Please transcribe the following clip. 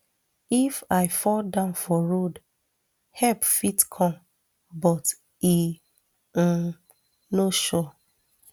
if i fall down for road help fit come but e um no sure